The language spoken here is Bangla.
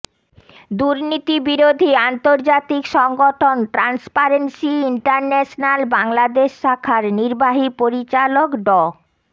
দুর্নীতি বিরোধী আন্তর্জাতিক সংগঠন ট্রান্সপারেন্সি ইন্টারন্যাশনাল বাংলাদেশ শাখার নির্বাহী পরিচালক ড